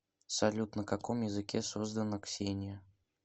салют на каком языке создано ксения